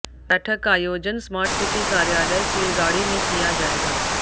बैठक का आयोजन स्मार्ट सिटी कार्यालय चीलगाड़ी में किया जाएगा